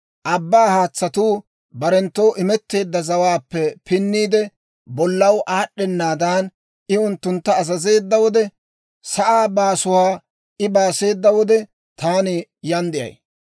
abbaa haatsatuu barenttoo imetteedda zawaappe pinniide, bollaw aad'd'ennaadan, I unttuntta azazeedda wode, sa'aa baasuwaa I baaseeda wode, taani yaan de'ay.